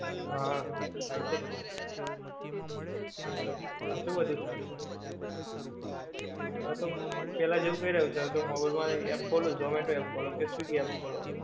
હા થઈ છેજ ને એટલે ખાસું બધું થાય છે, હવે તો પેહલા જેવું કઈ રાયુ છે હવે તો mobile માં app ખોલો zomato app ખોલો કે swiggy app ખોલો